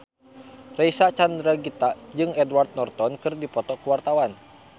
Reysa Chandragitta jeung Edward Norton keur dipoto ku wartawan